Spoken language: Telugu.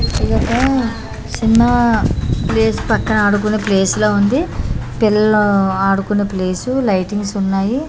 చిన్న ప్లేస్ పక్కన ఆడుకొనే ప్లేస్ లా ఉంది పిల్లలు ఆడుకొనే ప్లేస్ లైటింగ్స్ ఉన్నాయి.